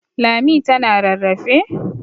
Lami tana rarrafe?